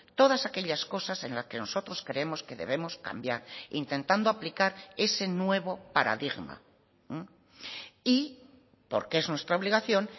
todas aquellas cosas en la que nosotros creemos que debemos cambiar intentando aplicar ese nuevo paradigma y porque es nuestra obligación